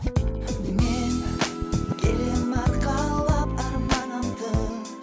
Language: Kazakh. мен келемін арқалап арманымды